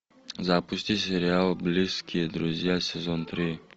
запусти сериал близкие друзья сезон три